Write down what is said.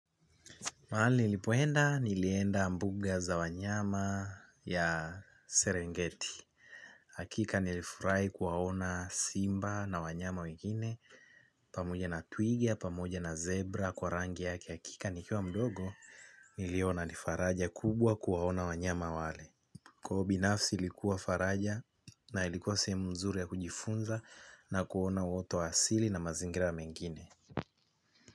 Mahali nilipoenda, nilienda mbuga za wanyama ya Serengeti. Hakika nilifurahi kuwaona simba na wanyama wengine, pamoja na twiga, pamoja na zebra, kwa rangi yake. Hakika nikiwa mdogo, niliona ni faraja kubwa kuwaona wanyama wale. Kwa ubinafsi ilikuwa faraja na ilikuwa sehemu mzuri ya kujifunza na kuona wote wa asili na mazingira mengine.